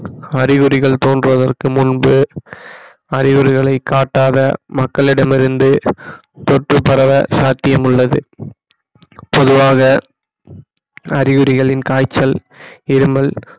அறிகுறிகள் தோன்றுவதற்கு முன்பு அறிகுறிகளை காட்டாத மக்களிடமிருந்து தொற்று பரவ சாத்தியம் உள்ளது பொதுவாக அறிகுறிகளின் காய்ச்சல் இருமல்